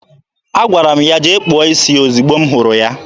Agwara m ya jee kpụọ isi ya ozigbo m hụrụ ya.